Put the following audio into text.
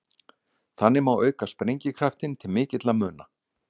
Þannig má auka sprengikraftinn til mikilla muna.